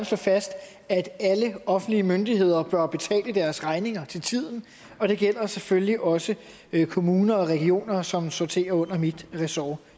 slå fast at alle offentlige myndigheder bør betale deres regninger til tiden og det gælder selvfølgelig også kommuner og regioner som sorterer under mit ressort